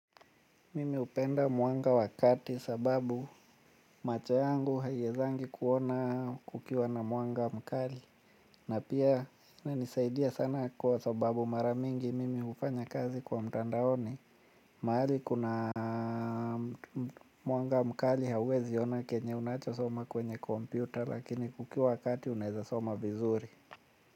Mimi hupenda mwanga wakati sababu macho yangu haiezangi kuona kukiwa na mwanga mkali. Na pia inanisaidia sana kwa sababu mara mingi mimi hufanyakazi kwa mtandaoni. Mahali kuna mwanga mkali hauwezi ona kenye unachosoma kwenye kompyuta lakini kukiwa kati unaeza soma vizuri.